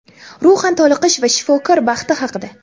ruhan toliqish va shifokor baxti haqida.